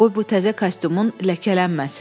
Qoy bu təzə kostyumun ləkələnməsin.